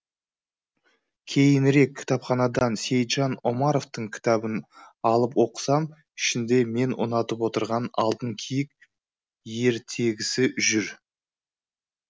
кейінірек кітапханадан сейітжан омаровтың кітабын алып оқысам ішінде мен ұнатып отырған алтын киік ертегісі жүр